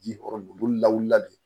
Ji yɔrɔ olu lawulila de